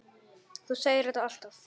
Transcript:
Þú segir þetta alltaf!